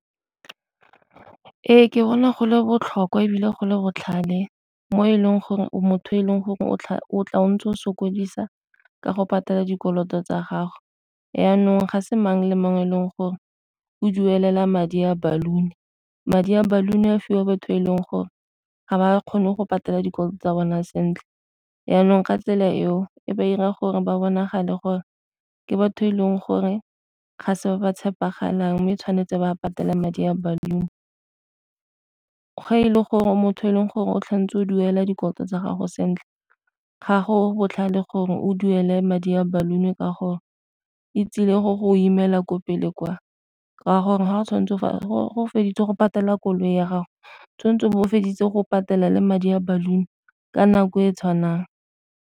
Ee, ke bona go le botlhokwa ebile go le botlhale mo e leng gore o motho e leng gore o tla o ntse o sokodisa ke go patela dikoloto tsa gago. Jaanong ga se mang le mang e leng gore o duelela madi a baluni, madi a baluni a fiwa batho e leng gore ga ba kgone go patela dikoloi tsa bona sentle. Jaanong ka tsela eo e ba 'ira gore ba bonagale gore ke batho e leng gore ga se ba ba tshepegalang, mme e tshwanetse ba patela madi a baluni. Fa e le gore motho a e leng gore o tshwanetse o duela dikoloto tsa gago sentle gago botlhale gore o duele madi a baluni ka gore e tsile go go imela ko pele kwa ka gore feditse go patela koloi ya gago tshwanetse bo o feditse go patela le madi a baluni ka nako e e tshwanang.